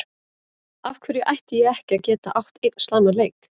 Af hverju ætti ég ekki að geta átt einn slæman leik?